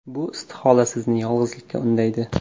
Bu istihola sizni yolg‘izlikka undaydi.